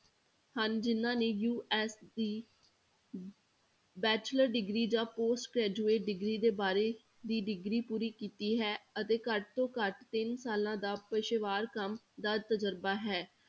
ਹਨ ਜਿੰਨਾਂ ਨੇ US ਦੀ bachelor degree ਜਾਂ post graduate degree ਦੇ ਬਾਰੇ ਦੀ degree ਪੂਰੀ ਕੀਤੀ ਹੈ ਅਤੇ ਘੱਟ ਤੋਂ ਘੱਟ ਤਿੰਨ ਸਾਲਾਂ ਦਾ ਪੇਸ਼ੇਵਾਰ ਕੰਮ ਦਾ ਤਜ਼ਰਬਾ ਹੈ।